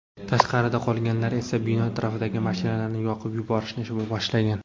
Tashqarida qolganlar esa bino atrofidagi mashinalarni yoqib yuborishni boshlagan.